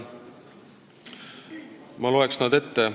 Ma loen nad ette.